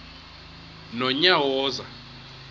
nonyawoza